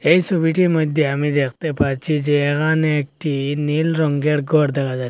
এই সোবিটির মইদ্যে আমি দেখতে পাচ্ছি যে এখানে একটি নীল রঙ্গের ঘর দেখা যায়--